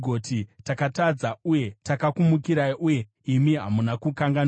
“Takatadza uye takakumukirai uye imi hamuna kukanganwira.